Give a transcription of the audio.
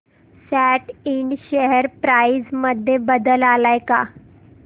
सॅट इंड share price मध्ये बदल आलाय का